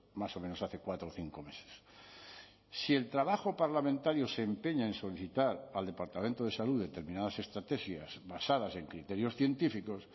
más o menos hace cuatro o cinco meses si el trabajo parlamentario se empeña en solicitar al departamento de salud determinadas estrategias basadas en criterios científicos